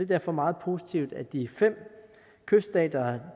derfor meget positivt at de fem kyststater